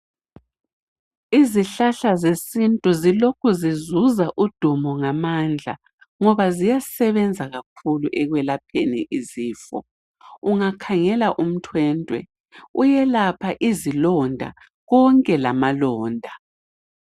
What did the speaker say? Izihlahla zesintu zilokhu zizuza udumo ngamandla ngoba ziyasebenza kakhulu ekwelapheni izifo ungakhangela umthwentwe uyelapha izilonda konke lamalonda